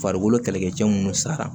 Farikolo kɛlɛkɛcɛ minnu sara